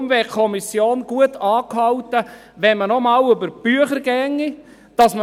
Die Kommission wäre gut angehalten, noch einmal über die Bücher zu gehen.